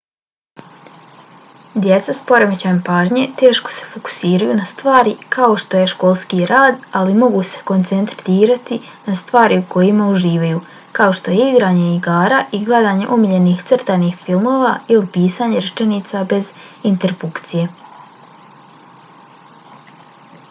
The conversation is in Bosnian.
djeca s poremećajem pažnje teško se fokusiraju na stvari kao što je školski rad ali mogu se koncentrirati na stvari u kojima uživaju kao što je igranje igara ili gledanje omiljenih crtanih filmova ili pisanje rečenica bez interpunkcije